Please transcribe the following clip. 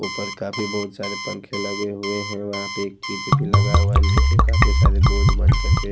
ऊपर काफी बहुत सारे पंखे लगे हुए हैं वहाँ पे एक चीज भी लगा हुआ है नीचे काफी सारे बोर्ड बन करके --